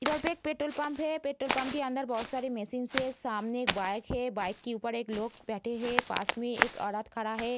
इधर पे एक पेट्रोल पंप है पेट्रोल पंप के अंदर बहौत सारी मशीन्स हैं सामने एक बाइक है बाइक के ऊपर एक लोग बैठे हैं पास में एक औरत खड़ा है।